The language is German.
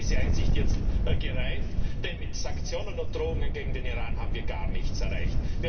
Gott sei Dank ist diese Einsicht jetzt gereift, denn mit Sanktionen und Drohungen gegen den Iran haben wir gar nichts erreicht.